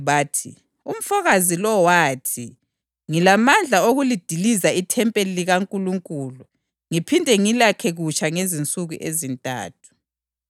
bathi, “Umfokazi lo wathi, ‘Ngilamandla okulidiliza ithempeli likaNkulunkulu ngiphinde ngilakhe kutsha ngezinsuku ezintathu.’ ”